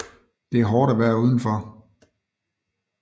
Det er hårdt at være udenfor